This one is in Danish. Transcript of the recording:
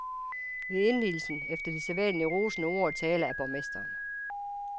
Ved indvielsen, efter de sædvanlige rosende taler af borgmesteren.